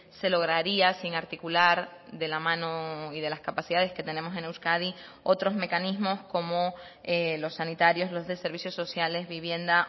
se lograría sin articular de la mano y de las capacidades que tenemos en euskadi otros mecanismos como los sanitarios los de servicios sociales vivienda